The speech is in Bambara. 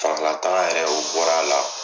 Fagan lataga yɛrɛ o bɔr'ala